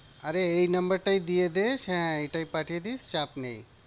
আরে এই number টাই দিয়ে দে, হ্যাঁ এটাই পাঠিয়ে দিস, চাপ নেই।